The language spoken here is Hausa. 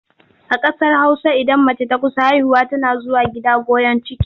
A ƙasar Hausa idan mace ta kusa haihuwa tana zuwa gida goyon ciki.